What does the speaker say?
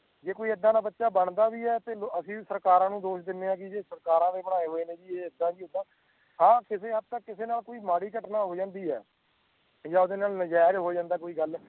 ਦੇਖੋ ਜਾਇ ਏਦਾਂ ਦਾ ਬੱਚਾ ਕੋਈ ਬਣਦਾ ਵੀ ਹੈ ਤੇ ਅਸੀਂ ਵੀ ਸਰਕਾਰ ਨੂੰ ਦੋਸ਼ ਦੀਨੇ ਆਕਿ ਕਿ ਸਰਕਾਰ ਦੇ ਬਣਾਈਏ ਹੋਏ ਨੇ ਜੀ ਏਦਾਂ ਜੀ ਓਦਾਂ ਹਾਂ ਕਿਸੇ ਹੱਦ ਤੱਕ ਕਿਸੇ ਨਾਲ ਕੋਈ ਮਾੜੀ ਘਟਨਾਂ ਹੋ ਜਾਂਦੀ ਹੈ ਪੰਜਾਬ ਨਾਲ ਨਜੇਜ ਹੋ ਜਾਂਦਾ ਕੋਈ ਗੱਲ